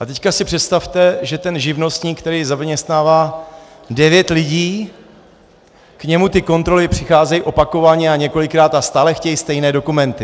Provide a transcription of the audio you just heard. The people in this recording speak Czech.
A teď si představte, že ten živnostník, který zaměstnává devět lidí, k němu ty kontroly přicházejí opakovaně a několikrát a stále chtějí stejné dokumenty.